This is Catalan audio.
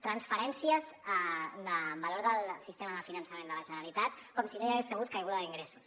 transferències de valor del sistema de finançament de la generalitat com si no hi hagués hagut caiguda d’ingressos